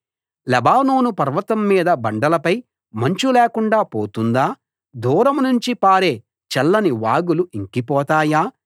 Lebanon పర్వతం మీద బండలపై మంచు లేకుండా పోతుందా దూరం నుంచి పారే చల్లని వాగులు ఇంకిపోతాయా